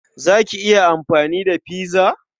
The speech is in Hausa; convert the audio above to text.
Za ki iya amfani da pizza?